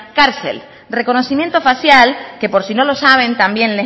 cárcel reconocimiento facial que por si no lo saben también